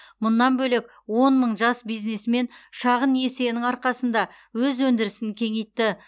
мұнан бөлек он мың жас бизнесмен шағын несиенің арқасында өз өндірісін кеңейтті